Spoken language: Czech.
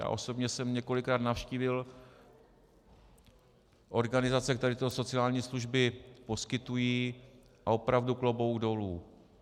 Já osobně jsem několikrát navštívil organizace, které tyto sociální služby poskytují, a opravdu klobouk dolů.